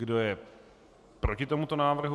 Kdo je proti tomuto návrhu?